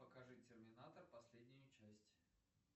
покажи терминатор последнюю часть